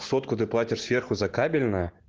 сотку ты платишь сверху за кабельное